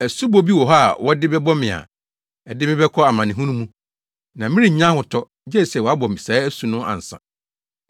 Asubɔ bi wɔ hɔ a wɔde bɛbɔ me a, ɛde me bɛkɔ amanehunu mu, na merennya ahotɔ, gye sɛ wɔabɔ me saa asu no ansa.